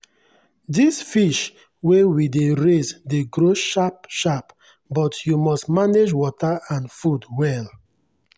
this fish wey we dey raise dey grow sharp-sharp but you must manage water and food well.